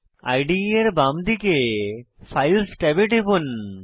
ইদে এর বাম দিকে ফাইলস ট্যাবে টিপুন